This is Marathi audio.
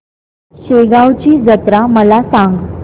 शेगांवची जत्रा मला सांग